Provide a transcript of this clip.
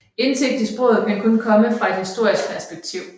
Indsigt i sproget kan kun komme fra et historisk perspektiv